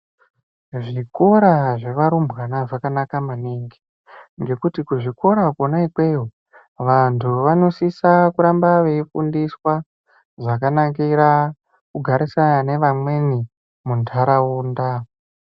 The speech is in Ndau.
Zvikora zvevarumbwana zvakanaka maningi ngekuti kuzvikora kona ikweyo vantu vanosisa kuramba veifundiswa zvakanakira kugarisana nevamweni mundaraunda.